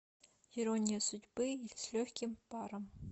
ирония судьбы или с легким паром